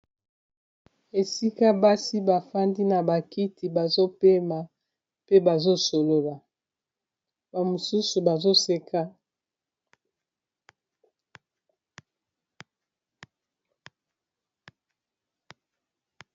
esika basi bafandi na bakiti bazopema mpe bazosolola bamosusu bazoseka